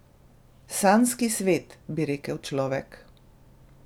Sanjski svet, bi rekel človek.